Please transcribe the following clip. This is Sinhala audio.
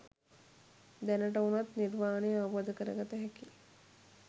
දැනට උනත් නිර්වාණය අවබෝධ කරගතහැකි